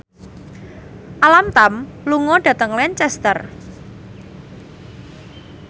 Alam Tam lunga dhateng Lancaster